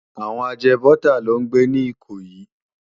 Àwòn àjèbòtá ló n gbé ni Ikoyi